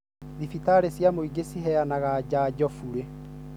Dhibitarĩ cia mũingĩ ciraheana janjo bure.